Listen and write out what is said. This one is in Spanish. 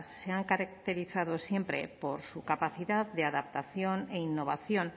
se ha caracterizado siempre por su capacidad de adaptación e innovación